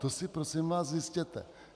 To si prosím vás zjistěte.